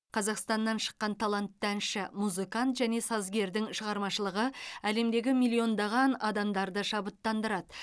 қазақстаннан шыққан талантты әнші музыкант және сазгердің шығармашылығы әлемдегі миллиондаған адамдарды шабыттандырады